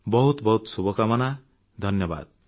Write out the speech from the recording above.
ବହୁତ ବହୁତ ଶୁଭକାମନା ଧନ୍ୟବାଦ